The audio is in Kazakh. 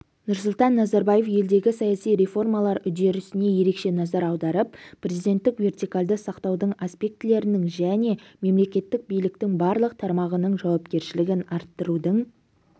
нұрсұлтан назарбаев елдегі саяси реформалар үдерісіне ерекше назар аударып президенттік вертикальді сақтаудың аспектілерінің және мемлекеттік биліктің барлық тармағының жауапкершілігін арттырудың